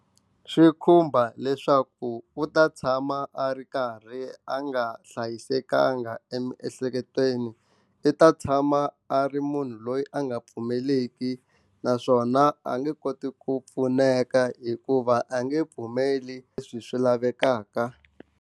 Swi khumba leswaku u ta tshama a ri karhi a nga hlayisekanga emiehleketweni i ta tshama a ri munhu loyi a nga pfumeleki naswona a nge koti ku pfuneka hikuva a nge pfumeli leswi swi lavekaka.